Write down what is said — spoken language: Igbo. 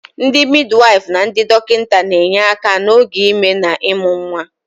Ndị midiwyfụ na ndị dọkịta na-enye aka n'oge ime na ịmụ nwa.